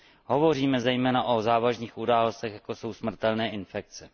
Hovoříme zejména o závažných událostech, jako jsou smrtelné infekce.